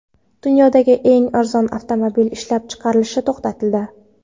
Dunyodagi eng arzon avtomobil ishlab chiqarilishi to‘xtatildi.